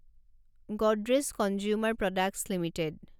Godrej consumer products limited